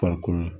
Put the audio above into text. Farikolo